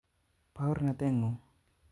Baornatet nguk